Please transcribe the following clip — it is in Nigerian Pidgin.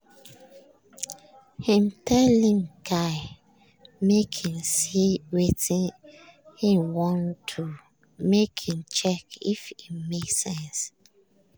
im tell him guy make him see wetin him wan do make im check if e make sense.